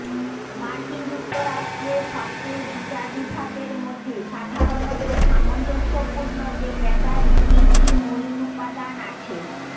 মার্কিন যুক্তরাষ্ট্রে সবচেয়ে বিচার বিভাগের মধ্যে সাধারণত সামঞ্জস্যপূর্ণ যে ব্যাটারি তিনটি মৌলিক উপাদান আছে